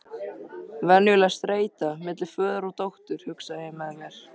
Venjuleg streita milli föður og dóttur, hugsaði ég með mér.